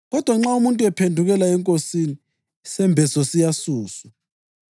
Kodwa nxa umuntu ephendukela eNkosini, “isembeso siyasuswa.”